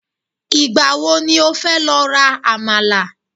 igbawo ni o fe lo ra àmàlà